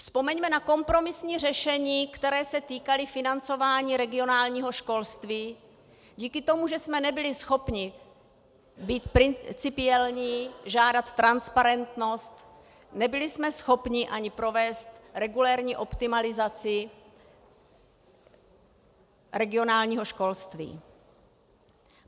Vzpomeňme na kompromisní řešení, která se týkala financování regionálního školství díky tomu, že jsme nebyli schopni být principiální, žádat transparentnost, nebyli jsme schopni ani provést regulérní optimalizaci regionálního školství.